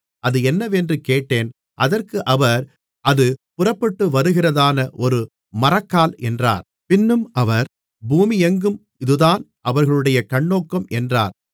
அது என்னவென்று கேட்டேன் அதற்கு அவர் அது புறப்பட்டுவருகிறதான ஒரு மரக்கால் என்றார் பின்னும் அவர் பூமியெங்கும் இதுதான் அவர்களுடைய கண்ணோக்கம் என்றார்